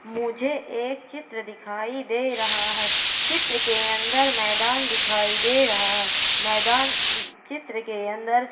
मुझे एक चित्र दिखाई दे रहा है चित्र के अंदर मैदान दिखाई दे रहा है मैदान चित्र के अंदर--